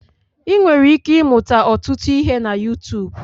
Ị nwere ike ịmụta ọtụtụ ihe na Yutuub.